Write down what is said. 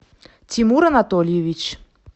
тимур анатольевич